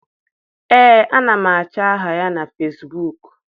Ee, ana m achọ aha ya na Fesbuk.